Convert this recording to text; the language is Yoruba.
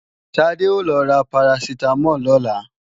Tádé ó lọ ra Paracetamol lọ́la